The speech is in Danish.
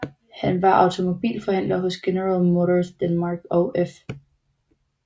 Han var automobilforhandler hos General Motors Danmark og F